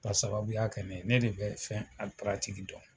Ka sababuya kɛ ne de bɛ fɛn dɔn.